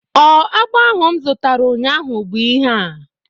Ọ agba ahụ m zutara ụnyaahụ bụ ihea?